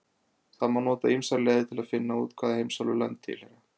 Það má nota ýmsar leiðir til þess að finna út hvaða heimsálfu lönd tilheyra.